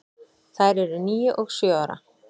Þær eru níu og sjö ára.